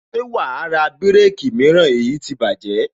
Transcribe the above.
Ṣé wàá ra bireki mìíràn èyí ti bájẹ̀